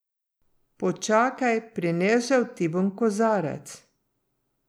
Počakaj, prinesel ti bom kozarec.